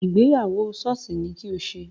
Ìgbéyàwó sọ́ọ̀sì ni kí o ṣe!